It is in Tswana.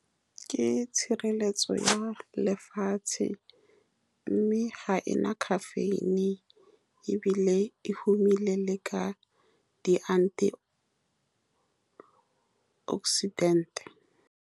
Ke tshireletso ya lefatshe, mme ga e na caffeine, ebile e humile le ka di-antioxidant-e.